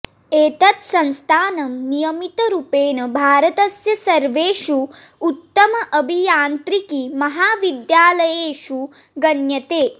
एतत् संस्थानं नियमितरुपेण भारतस्य सर्वेषु उत्तम अभियान्त्रिकी महाविद्यालयेषु गण्यते